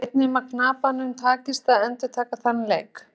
Hver veit nema að kappanum takist að endurtaka þann leik?